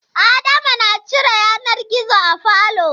Adama na cire yanar gizo a falo.